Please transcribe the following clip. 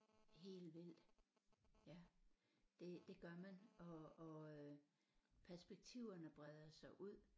Helt vildt ja det det gør man og og øh perspektiverne breder sig ud